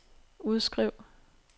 udskriv